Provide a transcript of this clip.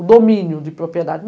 o domínio de propriedade.